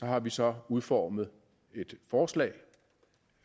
har vi så udformet et forslag